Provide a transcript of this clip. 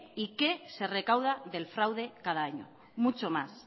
y qué se recauda del fraude cada año